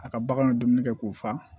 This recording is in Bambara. A ka bagan bɛ dumuni kɛ k'o fa